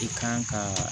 I kan ka